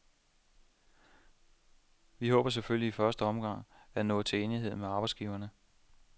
Vi håber selvfølgelig i første omgang at nå til enighed med arbejdsgiverne.